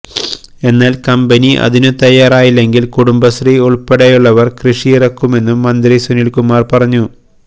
എന്നാല് കമ്പനി അതിനു തയ്യാറായില്ലെങ്കില് കുടുംബശ്രീ ഉള്പ്പെടെയുള്ളവര് കൃഷിയിറക്കുമെന്നും മന്ത്രി സുനില്കുമാര് പറഞ്ഞു